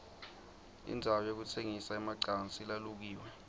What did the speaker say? indzawo yekutsengisa emacansi lalukiwe